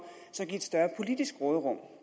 at give et større politisk råderum